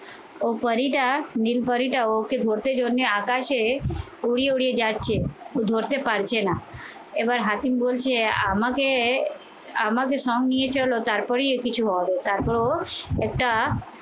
ও পরীটা নির্ভরিতা ওকে ধরতে জন্যে আকাশে উড়িয়ে উড়িয়ে যাচ্ছে ধরতে পারছে না এবার হাসিম বলছে আমাকে আমাকে সঙ্গে নিয়ে চলো তারপরেই এর কিছু হবে। তারপর ও একটা